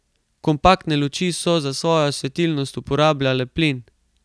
Kompaktne luči so za svojo svetilnost uporabljale plin.